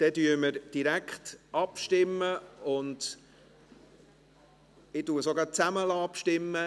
Dann stimmen wir direkt ab, und ich lasse sogar gerade zusammen abstimmen.